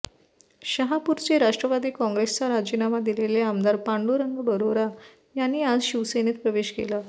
शहापूरचे राष्ट्रवादी काँग्रेसचा राजीनामा दिलेले आमदार पांडुरंग बरोरा यांनी आज शिवसेनेत प्रवेश केला